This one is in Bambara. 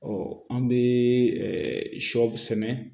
Ɔ an bɛ shɔ sɛnɛ